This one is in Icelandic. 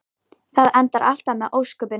því fordómar munu eflaust aldrei alveg hverfa